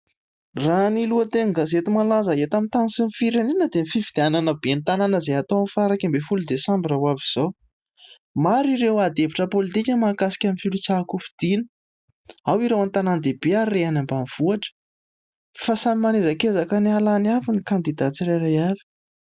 Raha ny lohatenin-gazety malaza eto amin'ny tany sy ny firenena dia ny fifidianana ben'ny tanana izay hatao ny faha iraika ambin'ny folo desambra ho avy izao. Maro ny ady hevitra pôlitika majhakasika ny filatsan-ko fidiana. Ao ireo an-tanan-dehibe ary re any ambanivohitra. Fa samy manezakezaka ny hahalany avy ny kandida tsirairay avy.